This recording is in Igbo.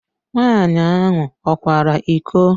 Nwaanyị ahụ ọ kwara iko?